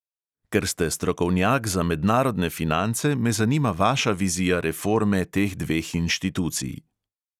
Ker ste strokovnjak za mednarodne finance, me zanima vaša vizija reforme teh dveh inštitucij.